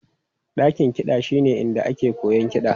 Dakin kiɗa shine inda ake koyon kiɗa.